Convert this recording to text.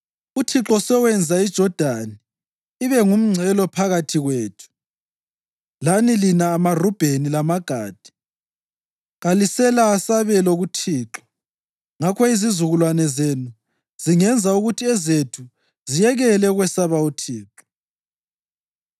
UThixo sewenza iJodani ibe ngumngcele phakathi kwethu lani lina maRubheni lamaGadi! Kalilasabelo kuThixo.’ Ngakho izizukulwane zenu zingenza ukuthi ezethu ziyekele ukwesaba uThixo.